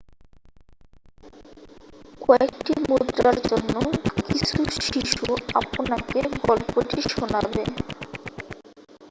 কয়েকটি মুদ্রার জন্য কিছু শিশু আপনাকে গল্পটি শোনাবে